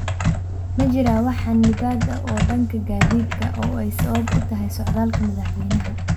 ma jiraan wax xanibaad ah oo dhanka gaadiidka ah oo ay sabab u tahay socdaalka madaxweynaha